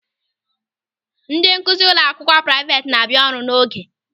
Ndị nkụzi ụlọ akwụkwọ praịveti na-abịa ọrụ n'oge.